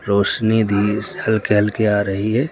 रोशनी भी हल्के हल्के आ रही है।